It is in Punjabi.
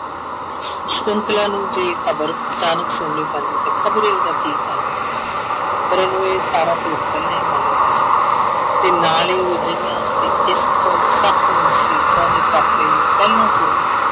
ਸਕੁੰਤਲਾ ਨੂੰ ਜੇ ਇਹ ਖ਼ਬਰ ਅਚਾਨਕ ਸੁਣਨੀ ਪੈਂਦੀ ਤਾਂ ਖ਼ਬਰੇ ਉਹਦਾ ਕੀ ਹਾਲ ਹੁੰਦਾ ਪਰ ਉਹਨੂੰ ਇਹ ਸਾਰਾ ਭੇਤ ਪਹਿਲਾਂ ਹੀ ਮਾਲੂਮ ਸੀ ਤੇ ਨਾਲ ਹੀ ਉਹ ਅਜਿਹਿਆਂ ਤੇ ਇਸ ਤੋਂ ਸਖ਼ਤ ਮੁਸ਼ੀਬਤਾਂ ਦੇ ਟਾਕਰੇ ਲਈ ਪਹਿਲਾਂ ਤੋਂ ਹੀ